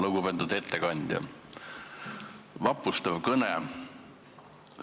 Lugupeetud ettekandja, vapustav kõne!